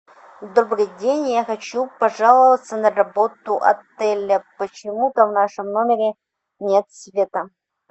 добрый день я хочу пожаловаться на работу отеля почему то в нашем номере нет света